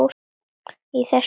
í þessu dæmi.